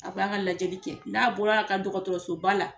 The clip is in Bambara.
A b'a ka lajɛli kɛ n'a bɔra a ka dɔgɔtɔrɔsoba la.